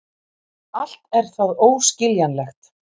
Allt er það óskiljanlegt.